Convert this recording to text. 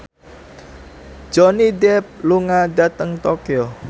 Johnny Depp lunga dhateng Tokyo